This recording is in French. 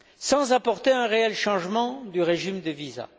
sans apporter un réel changement du régime des visas.